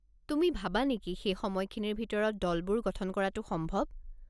তুমি ভাবা নেকি সেই সময়খিনিৰ ভিতৰত দলবোৰ গঠন কৰাটো সম্ভৱ?